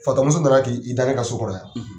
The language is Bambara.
Fatɔ muso na na k'i i da ne ka so kɔnɔ yan.